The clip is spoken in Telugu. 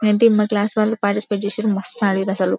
మా క్లాస్ వాలు పార్టిసిపేట్ చేసిరు మస్తు ఆడిరు అసలు.